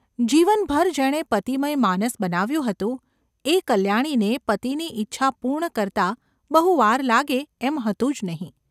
જીવનભર જેણે પતિમય માનસ બનાવ્યું હતું એ કલ્યાણીને પતિની ઇચ્છા પૂર્ણ કરતાં બહુ વાર લાગે એમ હતું જ નહિ.